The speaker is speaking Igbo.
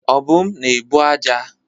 Obum na-ebu aja.